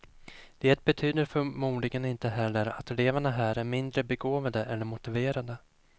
Det betyder förmodligen inte heller att eleverna här är mindre begåvade eller motiverade.